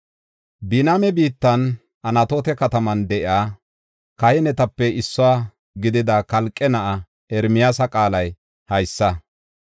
Biniyaame biittan, Anatoota kataman de7iya kahinetape issuwa gidida Kalqe na7aa Ermiyaasa qaalay haysa.